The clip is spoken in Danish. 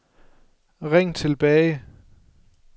ring tilbage